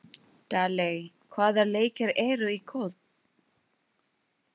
Daley, hvaða leikir eru í kvöld?